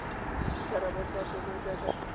dikarabo tsa tsona jaaka di